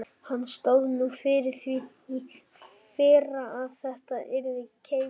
Hann stóð nú fyrir því í fyrra að þetta yrði keypt.